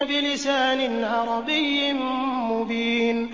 بِلِسَانٍ عَرَبِيٍّ مُّبِينٍ